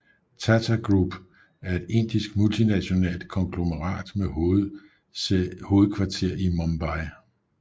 Tata Group er et indisk multinationalt konglomerat med hovedkvarter i Mumbai